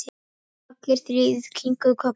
Allir þrír kinkuðu kolli.